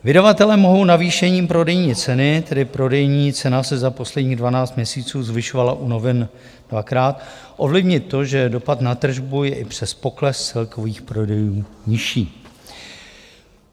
Vydavatelé mohou navýšením prodejní ceny - tedy prodejní cena se za posledních 12 měsíců zvyšovala u novin dvakrát - ovlivnit to, že dopad na tržbu je i přes pokles celkových prodejů nižší.